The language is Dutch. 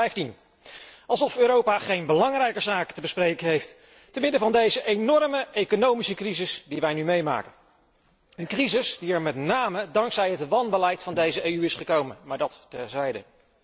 2015. Alsof Europa geen belangrijker zaken te bespreken heeft te midden van deze enorme economische crisis die wij nu meemaken! Een crisis die er met name dankzij het wanbeleid van deze EU is gekomen, maar dat terzijde.